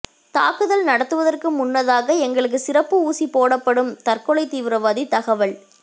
தாக்குதல் நடத்துவதற்கு முன்னதாக எங்களுக்கு சிறப்பு ஊசி போடப்படும் தற்கொலை தீவிரவாதி தகவல்